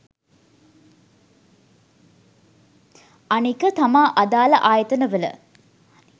අනික තමා අදාල ආයතන වල